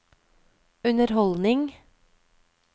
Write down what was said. underholdning